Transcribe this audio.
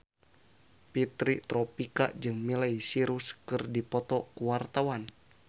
Fitri Tropika jeung Miley Cyrus keur dipoto ku wartawan